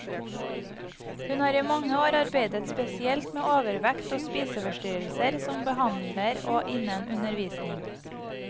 Hun har i mange år arbeidet spesielt med overvekt og spiseforstyrrelser, som behandler og innen undervisning.